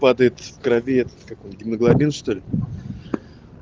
падает в крови этот как он гемоглобин что ли